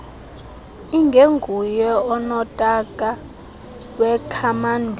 ingenguye unotaka wekhamandela